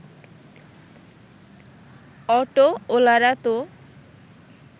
অটোওলারা তো